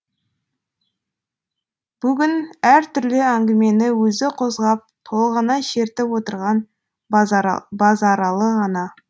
бүгін әр түрлі әңгімені өзі қозғап толғана шертіп отырған базаралы ғана